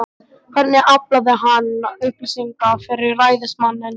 Hvernig aflaði hann upplýsinga fyrir ræðismanninn?